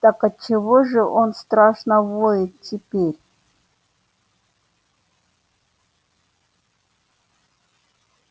так отчего же он страшно воет теперь